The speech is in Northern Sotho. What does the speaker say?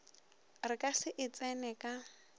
re ka se e tseneka